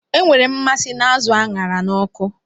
Enwere m mmasị na azụ a ṅara n'ọkụ